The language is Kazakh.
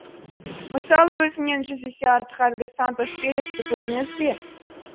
мысалы өзіңнен жүз есе артық әлгі сантос пересті көрдіңіз бе